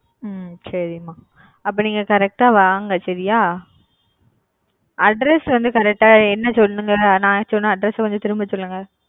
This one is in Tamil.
ஹ்ம்ம் சரி மா அப்ப நீங்க correct வாங்க சரியா address வந்து correct என்ன சொல்லுங்க நா சொன்னா address அ கொஞ்சம் திரும்ப சொல்லுங்க,